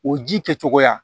O ji kɛcogoya